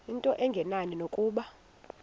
into engenani nokuba